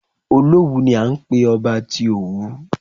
Olówù ni à ń pé ọba tí Òwu.